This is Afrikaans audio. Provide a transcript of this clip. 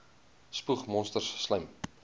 spoeg monsters slym